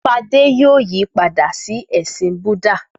Fadé yóò yí padà sí ẹ̀sìn Búdà.